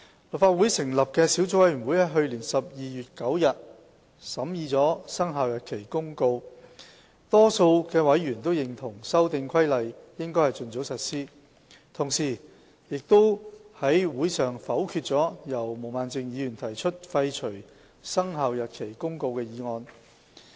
立法會成立的小組委員會於去年12月9日審議了《生效日期公告》，多數委員都認同《修訂規例》應盡早實施，同時，亦在會上否決了由毛孟靜議員提出廢除《生效日期公告》的決議案。